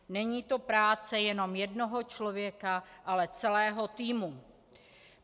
Není to práce jenom jednoho člověka, ale celého týmu.